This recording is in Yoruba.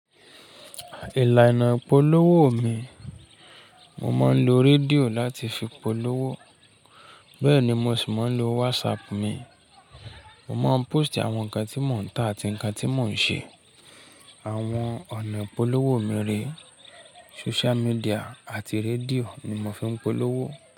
Ìlànà ìpolówó mi, mo máa ń lo rédíò láti fi polówó, bẹ́ẹ̀ ni mo sì máa ń lo WhatsApp mi. Mo máa ń póòstì àwọn nǹkan tí mò ń tà àti nǹkan tí mò ń ṣe. Àwọn ọ̀nà ìpolówó mi rè, social media àti rédíò ni mo fi ń polówó.